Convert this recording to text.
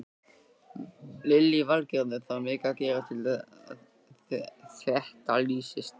Lillý Valgerður: Þarf mikið að gerast til að þetta leysist?